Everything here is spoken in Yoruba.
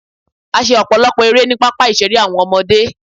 A ṣe ọ̀pọ̀lọpọ̀ erẹ́ ni pápá ìṣeré àwọn ọmọdé